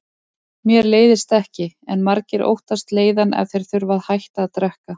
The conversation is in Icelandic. Mér leiðist ekki, en margir óttast leiðann ef þeir þurfa að hætta að drekka.